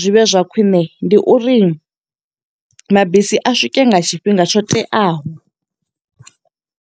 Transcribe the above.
zwi vhe zwa khwiṋe, ndi uri mabisi a swike nga tshifhinga tsho teaho.